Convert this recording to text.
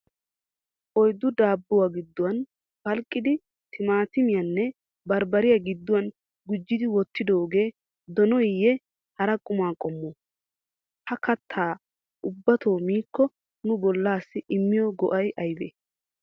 Oyddu daabuwaa gidduwaani phaliqqidi tmaattimiyaanne barbbariyaa gidduwaan gujiddi Wottidoge donoyee, hara qumma qommo? Ha kattaa ubatto miikko nu bollasi immiyoo go'ay ayibe?